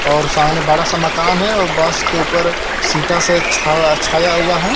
और सामने बड़ा सा मकान है और बस के उपर सीटा से छा छाया हुआ है.